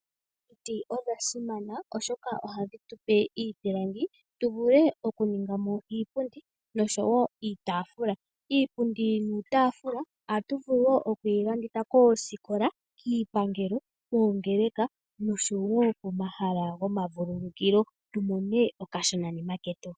Omiti odha simana oshoka ohadhi tupe iipilangi tuvule okuningamo iipundi nosho wo iitaafula. Iipundi niitaafula ohatu vulu wo okuyilanditha koosikola, kiipangelo, koongeeleka nosho wo komahala komavululukilo tumone okashona ketu.